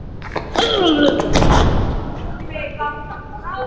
Hún er alveg ferlega tillitslaus